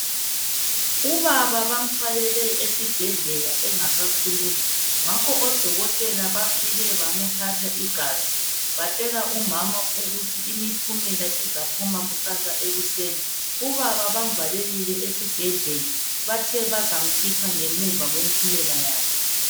Ubaba bamthwalele esibhedlela engasakhulumi ngakho odokotela bafike bamthatha igazi batshela umama ukuthi impumela izaphuma kusasa ekuseni ubaba bamvalelile esibhedlela bathe bazamkhipha ngemuva kwempumela yakhe.